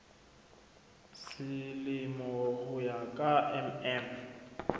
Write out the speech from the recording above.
selemo ho ya ka mm